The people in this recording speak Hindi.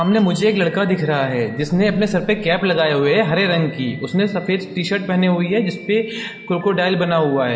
सामने मुझे एक लड़का दिख रहा है जिसने अपने सर पे कैप लगाए हुए है हरे रंग की उसने सफेद टी-शर्ट पेहनी हुई है जिसपे क्रोकोडाइल बना हुआ है |